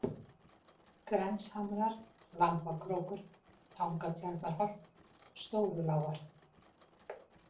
Grenshamrar, Lambakrókur, Tangatjarnarholt, Stórulágar